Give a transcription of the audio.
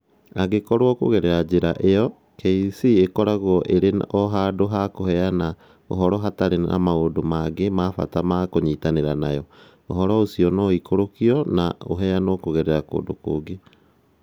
Angĩkorũo, kũgerera njĩra ĩyo, KEC ĩkoragwo ĩrĩ o handũ ha kũheana ũhoro hatarĩ na maũndũ mangĩ ma bata ma kũnyitanĩra nayo, ũhoro ũcio no ũikũrũkio na ũheanwo kũgerera kũndũ kũngĩ